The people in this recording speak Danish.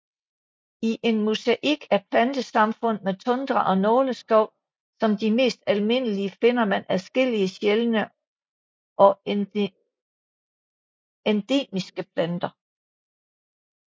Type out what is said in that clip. I en mosaik af plantesamfund med tundra og nåleskov som de mest almindelige finder man adskillige sjældne og endemiske planter